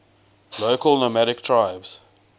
local nomadic tribes